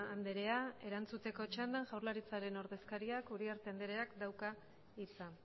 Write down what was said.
andrea erantzuteko txandan jaurlaritzaren ordezkariak uriarte andreak dauka hitza